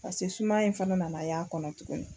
sumaya in fana nana a y'a kɔnɔ tuguni.